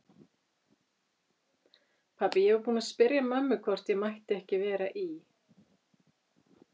Pabbi, ég var búinn að spyrja mömmu hvort ég mætti ekki vera í